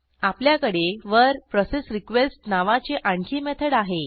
आपल्याकडे वर processRequestनावाची आणखी मेथड आहे